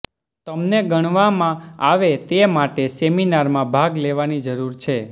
તમને ગણવામાં આવે તે માટે સેમિનારમાં ભાગ લેવાની જરૂર છે